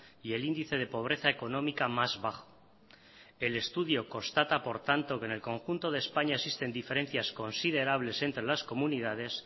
y el índice de pobreza económica más bajo el estudio constata por tanto que en el conjunto de españa existen diferencias considerables entre las comunidades